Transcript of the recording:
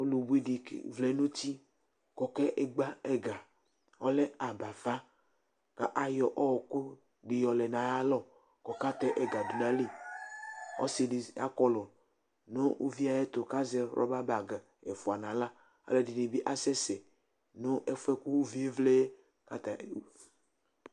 ɔlu bʋi di vlɛ nu uti, ku eke gba ɛga, ɔlɛ abafa ku ayɔ ɔku yɔ lɛ nu ayi alɔ ku ɔka tɛ ɛga du nu , ɔsi di akɔlu nu ayi ɛtu ku azɛ rɔba bag ɛfua nu aɣla, ɔlɔdini bi asɛsɛ nu ɛfuɛ ku uvie vlɛ yɛku ata ni